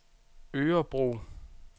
Örebro